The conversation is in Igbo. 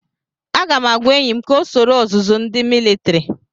Aga m agwa enyi m ka ọ soro ọzụzụ ndi militiri.